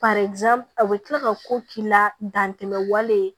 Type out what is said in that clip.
a bɛ kila ka ko k'i la dantɛmɛ wale